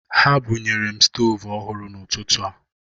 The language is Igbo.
Ha bunyere m stoovu ohụrụ n'ụtụtụ a.